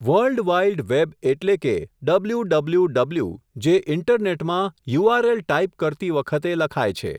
Worldwide web એટલે કે, W W W, જે ઈન્ટરનેટમાં યુઆરએલ ટાઈપ કરતી વખતે લખાય છે.